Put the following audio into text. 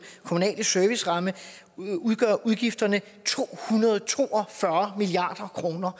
kommunale serviceramme udgør udgifterne to hundrede og to og fyrre milliard kroner